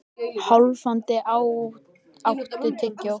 Hálfdan, áttu tyggjó?